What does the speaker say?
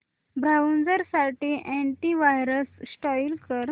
browser साठी antivirus install कर